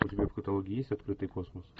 у тебя в каталоге есть открытый космос